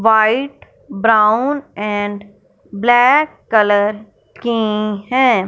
White brown and black colour की हैं।